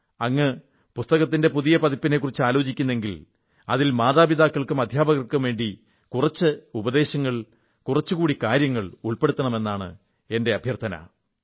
അങ്ങ് പുസ്തകത്തിന്റെ പുതിയ പതിപ്പിനെക്കുറിച്ച് ആലോചിക്കുന്നെങ്കിൽ അതിൽ മാതാപിതാക്കൾക്കും അധ്യാപകർക്കും വേണ്ടി കുറച്ചുകൂടി ഉപദേശങ്ങൾ കുറച്ചുകൂടി കാര്യങ്ങൾ ഉൾപ്പെടുത്തണം എന്നാണ് എന്റെ അഭ്യർഥന